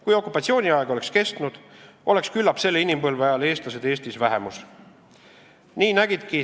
Kui okupatsiooniaeg oleks kestnud, siis küllap oleksid eestlased selle inimpõlve ajal Eestis vähemuseks muutunud.